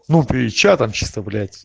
ну при тча там чисто блять